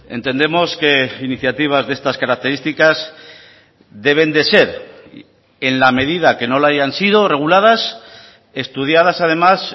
entendemos que iniciativas de estas características deben de ser en la medida que no la hayan sido reguladas estudiadas además